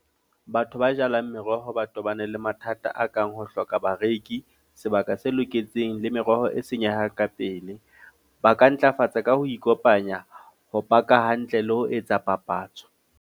Batho ba jalang meroho ba tobane le mathata a kang ho hloka bareki, sebaka se loketseng le meroho e senyehang ka pele. Ba ka ntlafatsa ka ho ikopanya, ho paka hantle le ho etsa papatso.